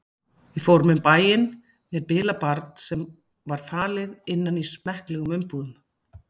Við fórum um bæinn með bilað barn sem var falið innan í smekklegum umbúðum.